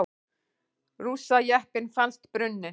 Rússajeppinn fannst brunninn